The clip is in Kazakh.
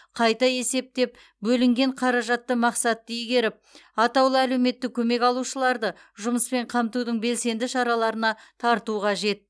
қайта есептеп бөлінген қаражатты мақсатты игеріп атаулы әлеуметтік көмек алушыларды жұмыспен қамтудың белсенді шараларына тарту қажет